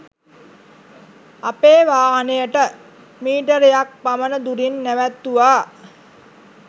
අපේ වාහනයට මීටරයක්‌ පමණ දුරින් නැවැත්තුවා.